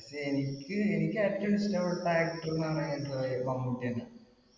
പക്ഷെ എനിക്ക് എനിക്ക് ഏറ്റവും ഇഷ്ടപെട്ട actor നമ്മുടെ മമ്മൂട്ടി തന്നെയാ.